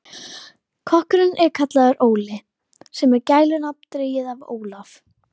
Kokkurinn er kallaður Óli, sem er gælunafn dregið af Ólaf